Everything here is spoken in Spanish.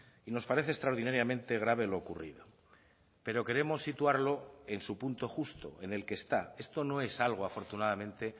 y nos parece extraordinariamente grave lo ocurrido pero queremos situarlo en su punto justo en el que está esto no es algo afortunadamente